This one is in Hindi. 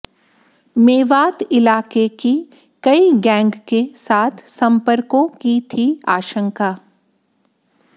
मेवात इलाके की कई गैंग के साथ संपर्कों की थी आशंका